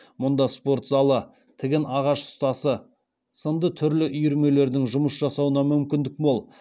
мұнда спорт залы тігін ағаш ұстасы сынды түрлі үйірмелердің жұмыс жасауына мүмкіндік мол